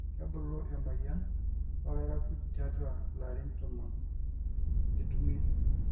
kebulu emoyian olairakuj tiatua larin tomon nitumie